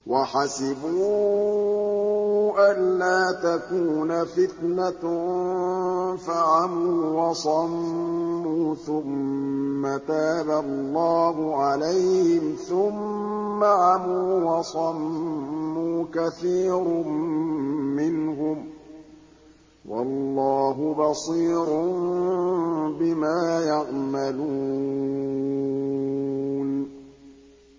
وَحَسِبُوا أَلَّا تَكُونَ فِتْنَةٌ فَعَمُوا وَصَمُّوا ثُمَّ تَابَ اللَّهُ عَلَيْهِمْ ثُمَّ عَمُوا وَصَمُّوا كَثِيرٌ مِّنْهُمْ ۚ وَاللَّهُ بَصِيرٌ بِمَا يَعْمَلُونَ